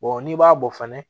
n'i b'a bɔ fana